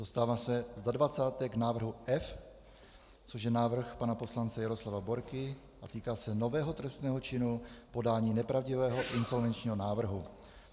Dostávám se za dvacáté k návrhu F, což je návrh pana poslance Jaroslava Borky a týká se nového trestného činu podání nepravdivého insolvenčního návrhu.